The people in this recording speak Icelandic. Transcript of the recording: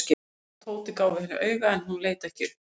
Örn og Tóti gáfu henni auga en hún leit ekki upp.